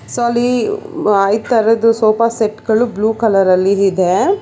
So ಅಲ್ಲಿ ಒ - ಅ - ಈ ತರದು ಸೋಫಾ ಸೆಟ್ ಗಳು ಬ್ಲೂ ಕಲರಲ್ಲಿ ಇದೆ.